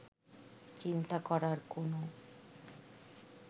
চিন্তা করার কোনো